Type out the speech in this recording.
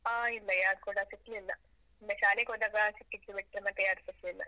ಹಾ ಇಲ್ಲ, ಯಾರೂ ಕೂಡ ಸಿಕ್ಲಿಲ್ಲ, ಒಮ್ಮೆ ಶಾಲೆಗೆ ಹೋದಾಗ ಸಿಕ್ಕಿದ್ದು ಬಿಟ್ರೆ ಮತ್ತೆ ಯಾರ್ಸಾ ಸಿಗ್ಲಿಲ್ಲ.